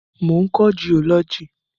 Mo ń kọ́ jiọ́lọ́jì.